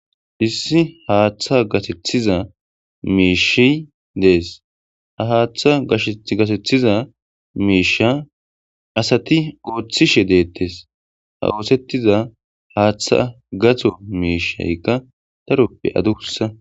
Issi haaththa gasethiza miishi dees ha haaththa gasethiza miisha asati ooththishe deettes ha oosettiza haaththa gatho miishaykka taroppe aduussa.